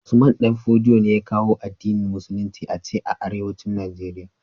Usman danfodiyo ne ya kawo addinin musulicin ace arewacin nigeria